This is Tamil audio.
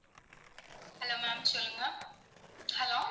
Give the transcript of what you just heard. hello ma'am சொல்லுங்க hello